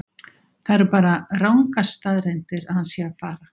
Það eru bara rangar staðreyndir að hann sé að fara.